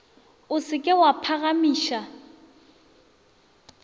o se ke wa phagamiša